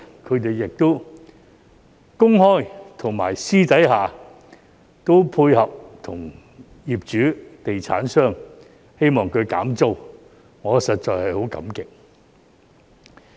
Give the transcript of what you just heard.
他們在公開和私底下都與業主、地產商配合，希望他減租，我實在很感激。